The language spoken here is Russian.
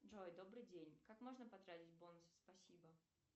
джой добрый день как можно потратить бонусы спасибо